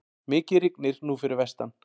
Mikið rignir nú fyrir vestan.